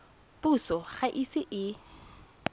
puso ga e ise e